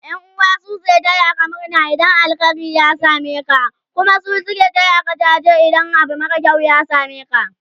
ƴan'uwa su suke tayaka murna in alheri ya sameka su Kuma Maka jaji idan Abu mara kyau ya sameka